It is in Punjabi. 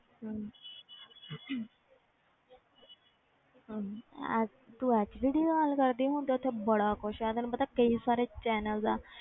ਹਮ ਹਮ ਇਹ 'ਚ ਕਿਹੜੀ ਗੱਲ ਕਰਦੀ ਹੈਂ ਹੁਣ ਤੇ ਉੱਥੇ ਬੜਾ ਕੁਛ ਹੈ ਤੈਨੂੰ ਪਤਾ ਕਈ ਸਾਰੇ channels ਆ,